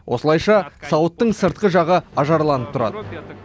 осылайша сауыттың сыртқы жағы ажарланып тұрады